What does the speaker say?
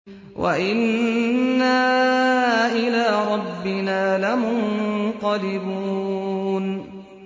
وَإِنَّا إِلَىٰ رَبِّنَا لَمُنقَلِبُونَ